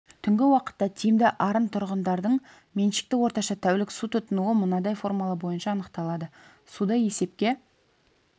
түнгі уақытта тиімді арын тұрғындардың меншікті орташа тәулік су тұтынуы мынадай формула бойынша анықталады суды есепке